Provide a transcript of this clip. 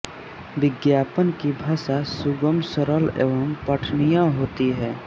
विज्ञापन की भाषा सुगम सरल एवं पठनीय होती है